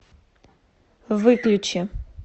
выключи